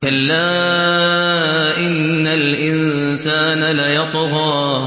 كَلَّا إِنَّ الْإِنسَانَ لَيَطْغَىٰ